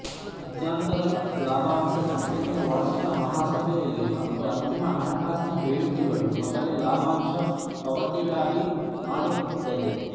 ಮಧ್ಯಂತರ ಲಾಭಾಂಶ ಕಂಪನಿಯ ವಾರ್ಷಿಕ ಮಹಾಸಭೆಯಲ್ಲಿ ಮತ್ತು ಅಂತಿಮ ಹಣಕಾಸಿನ ಹೇಳಿಕೆಗಳು ಮೊದಲೇ ಲಾಭಾಂಶ ಪಾವತಿಳಲಿ ಮಾಡುದ್ದದೆ